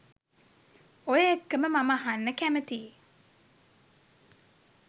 ඔය එක්කම මම අහන්න කැමතියි